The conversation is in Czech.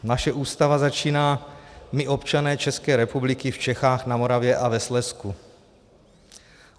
Naše Ústava začíná: My, občané České republiky v Čechách, na Moravě a ve Slezsku.